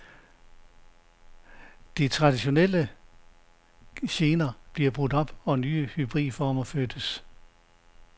De traditionelle genrer blev brudt op, og nye hybridformer fødtes.